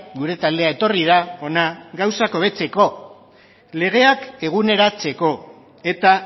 gure taldea etorri da hona gauzak hobetzeko legeak eguneratzeko eta